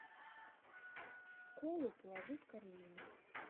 колу положи в корзину